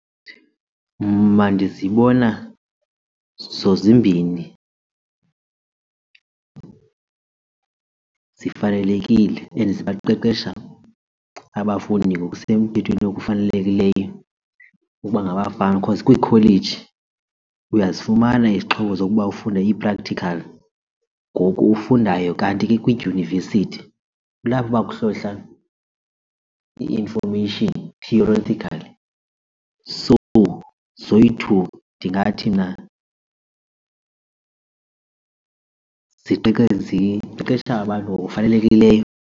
Mna ndizibona zozimbini zifanelekile and ziba qeqesha abafundi ngokusemthethweni okufanelekileyo ukuba ngabafama because kwiikholeji uyazifumana izixhobo zokuba ufunde ii-practical ngoku ufundayo kanti ke kwiidyunivesithi kulapho bakuhlohla i-information theoretically. So, zoyi-two ndingathi mna ziqeqesha abantu ngokufanelekileyo.